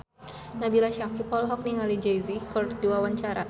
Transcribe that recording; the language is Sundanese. Nabila Syakieb olohok ningali Jay Z keur diwawancara